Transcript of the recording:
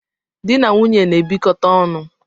Dị na nwunye na-ebikote onu